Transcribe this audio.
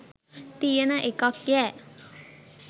තියන එකක්යැ